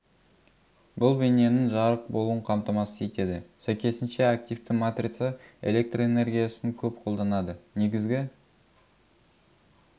бұл бейненің жарық болуын қамтамасыз етеді сәйкесінше активті матрица электр энергиясын көп қолданады негізгі